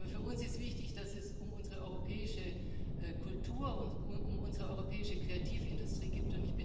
Für uns ist wichtig, dass es um unsere europäische Kultur und um unsere europäische Kreativindustrie geht.